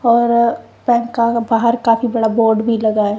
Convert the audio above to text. और पैनका बहार काफी बड़ा बोर्ड भी लगा है।